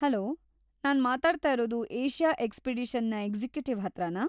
Hello! ನಾನ್ ಮಾತಾಡ್ತಾ ಇರೋದು ಏಷ್ಯಾ ಎಕ್ಸ್‌ಪಿಡಿಷನ್‌ನ ಎಕ್ಸಿಕ್ಯುಟಿವ್‌ ಹತ್ರಾನಾ?